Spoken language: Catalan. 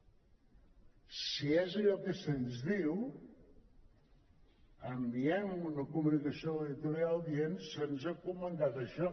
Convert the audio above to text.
si és allò que se’ns diu enviem una comunicació a l’editorial dient se’ns ha comentat això